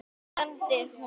hermdi hún.